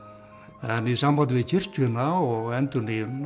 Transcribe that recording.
en í sambandi við kirkjuna og endurnýjunina